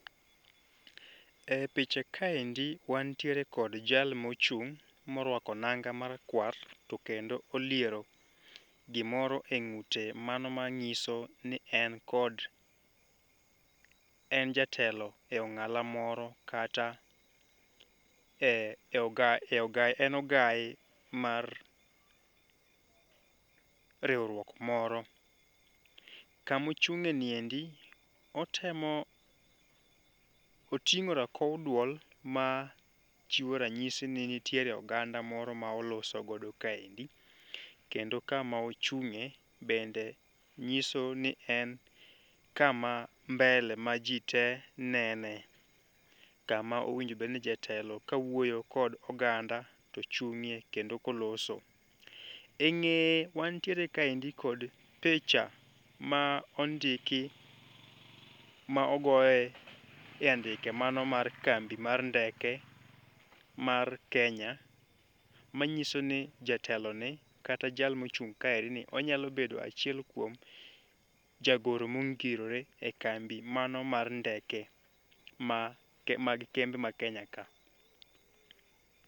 E picha kaendi wantiere kod jal mochung' morwako nanga marakwa, to kendo oliero gimoro e ng'ute. Mano ma ng'iso ni en kod, en jatelo e ong'ala moro kata en ogai mar riwruok moro. Kamochung'e niendi otemo oting'o rakow duol ma chiwo ranyisi ni nitiere oganda moro ma olosogo kaendi, kendo kama ochung'e bende nyiso ni en kama mbele ma ji te nene. Kama owinjobedni jatelo ka wuoyo kod oganda to chung'ie kendo koloso. E ng'eye wantiere kaendi kod picha ma ondiki ma ogoye e andike mano mar kambi mar ndeke mar Kenya. Ma nyiso ni jatelo ni kata jal mochung' kaeri ni, onyalo bedo achiel kuom jagoro mongirore e kambi mano mar ndeke ma mag kembe ma Kenya ka.